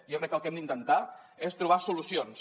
jo crec que el que hem d’intentar és trobar solucions